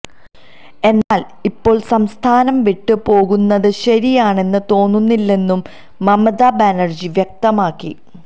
എന്നാല് ഇപ്പോള് സംസ്ഥാനം വിട്ട് പോകുന്നത് ശരിയാണെന്ന് തോന്നുന്നില്ലെന്നും മമതാ ബാനര്ജി വ്യക്തമാക്കി